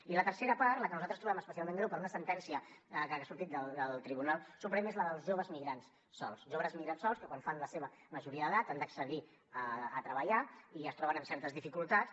i la tercera part la que nosaltres trobem especialment greu per una sentència que ha sortit del tribunal suprem és la dels joves migrants sols joves migrants sols que quan fan la seva majoria d’edat han d’accedir a treballar i es troben amb certes dificultats